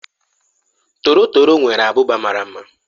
Torotoro nwere ábụbà mara mma.